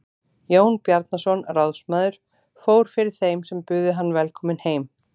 Jón Bjarnason ráðsmaður fór fyrir þeim sem buðu hann velkominn heim.